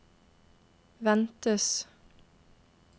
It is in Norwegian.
ventes